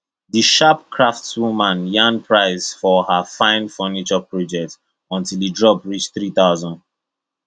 the sharp craftswoman yarn price for her fine furniture project until e drop reach three thousand